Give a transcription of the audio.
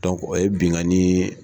Dɔnku o ye binkani